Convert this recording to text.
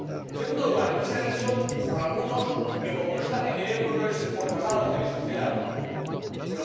En segundo lugar, aquí se ha dicho por algunos que como no están en el euro no les importa nada lo que le suceda al euro.